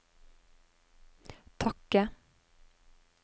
takke